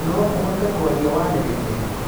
noũhote kwaria waniriire